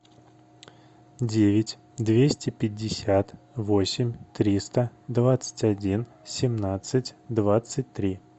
девять двести пятьдесят восемь триста двадцать один семнадцать двадцать три